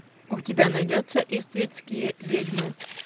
у тебя найдется иствикские ведьмы